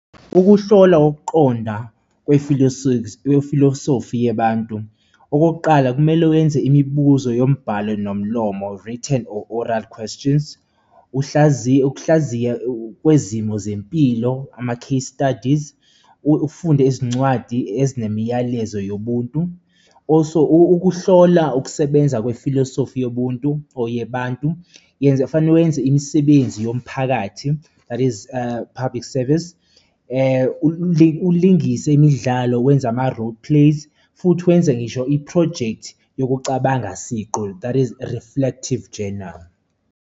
Ukuhlolwa kokuqonda kwefilosofi yebantu, okokuqala kumele wenze imibuzo yombhalo nomlomo, written or oral questions, uhlaziye, ukuhlaziya kwezimo zempilo ama-case studies, ufunde izincwadi ezinemiyalezo yobuntu. Also, ukuhlola ukusebenza kwefilosofi yobuntu or yebantu yenza, kufanele wenze imisebenzi yomphakathi that is public service, ulingise imidlalo wenze ama-role plays, futhi wenze ngisho iphrojekthi yokucabanga siqu, that is reflective journal.